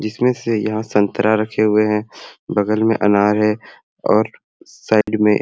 जिस में से यहाँ संतरा रखे हुए हे बगल में अनार हे और साइड में--